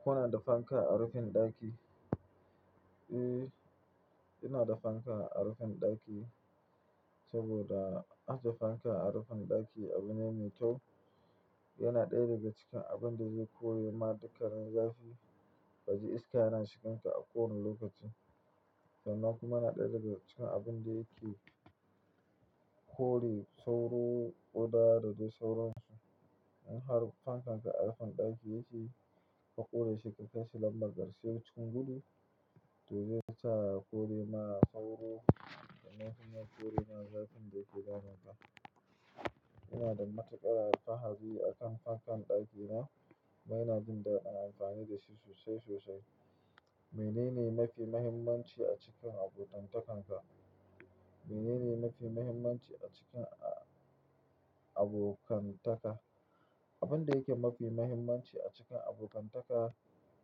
Kuna da fanka a rufin ɗaki? Eh, ina da fanka a rufin ɗaki saboda ajiye fanka a rufin ɗaki abu ne mai kyau. Yana ɗaya daga cikin abin da zai kore ma dukkanin zafi, ka ji iska yana shigan ka a kowani lokaci, sannan kuma yana ɗaya daga cikin abin da yake kore sauro kuda da dai sauransu. In har fankan ka a rufin ɗaki yake, ka ƙure shi ka kaishi lambar karshe cikin gudu, to zai sa ya kore ma sauro sannan kuma ya kore ma zafin da yake damunka. Ina da matuƙar alfahari a kan fankan ɗakina, kuma ina jin dadin amfani da shi sosai sosai. Menene mafi mahimmanci a cikin abokantakan ka? Menene mafi muhimmanci a cikin a-abokantaka? Abin da yake mafi mahimmanci a cikin abokantaka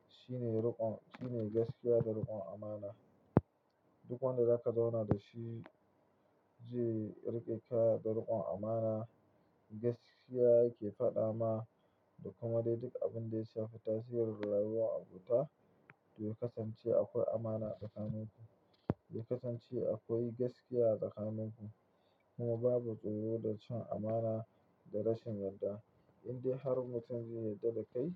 shine riƙon, shine gaskiya da riƙon amana. Duk wanda zaka zauna da shi, ze riƙe ka da riƙon amana. Gaskiya yake faɗa ma, da kuma dai duk abin da ya shafi tasirin rayuwar abota, ya kasance a kwai amana a tsakaninku. Ya kasance a kwai gaskiya a tsakaninku. Kuma babu tsoro da cin amana da rashin yarda. Indai har mutum zai yarda dakai.